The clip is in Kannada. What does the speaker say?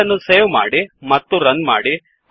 ಫೈಲ್ ಅನ್ನು ಸೇವ್ ಮಾಡಿ ಮತ್ತು ರನ್ ಮಾಡಿ